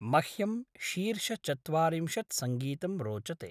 मह्यं शीर्षचत्वारिंशत् सङ्गीतं रोचते।